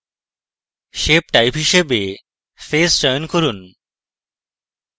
shape type হিসাবে face চয়ন করুন